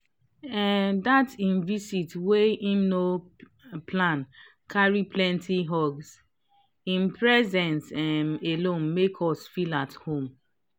um dat him vist wey him no um plan carry plenty hugshim presence um alone make us feel at home.